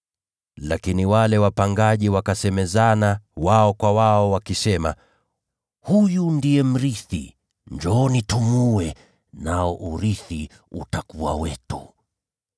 “Lakini wale wapangaji wakasemezana pamoja, ‘Huyu ndiye mrithi. Njooni tumuue, nao urithi utakuwa wetu.’